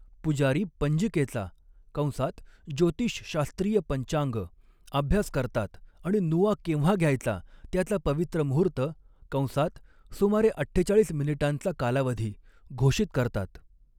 पुजारी पंजिकेचा कंसात ज्योतिषशास्त्रीय पंचांग अभ्यास करतात आणि नुआ केव्हा घ्यायचा त्याचा पवित्र मुहूर्त कंसात सुमारे अठ्ठेचाळीस मिनिटांचा कालावधी घोषित करतात.